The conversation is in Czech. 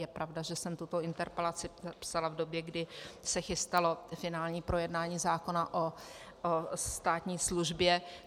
Je pravda, že jsem tuto interpelaci psala v době, kdy se chystalo finální projednání zákona o státní službě.